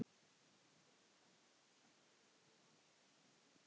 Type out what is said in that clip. Jói stakk pípunni í vasann.